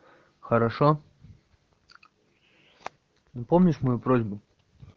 хорошо ну помнишь мою просьбу